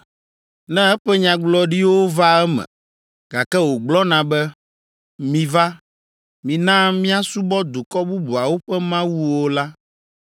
ne eƒe nyagblɔɖiwo vaa eme, gake wògblɔna be, ‘Miva, mina míasubɔ dukɔ bubuawo ƒe mawuwo’ la,